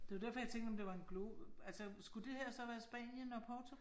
Det var derfor jeg tænkte om det var en globus, altså skulle det her så være Spanien og Portugal?